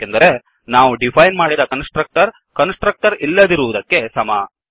ಏಕೆಂದರೆ ನಾವು ಡಿಫೈನ್ ಮಾಡಿದ ಕನ್ಸ್ ಟ್ರಕ್ಟರ್ ಕನ್ಸ್ ಟ್ರಕ್ಟರ್ ಇಲ್ಲದಿರುವುದಕ್ಕೆ ಸಮ